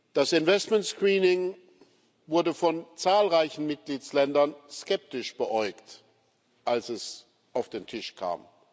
Das Investment Screening wurde von zahlreichen Mitgliedstaaten skeptisch beäugt, als es auf den Tisch kam.